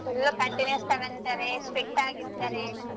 Full continuous ತಗೋಂತಾರೆ strict ಆಗಿರ್ತಾರೆ.